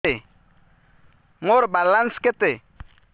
ମୋର ବାଲାନ୍ସ କେତେ